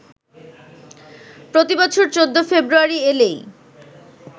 প্রতি বছর ১৪ ফেব্রুয়ারি এলেই